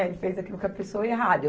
Ele fez aquilo com a pessoa errada.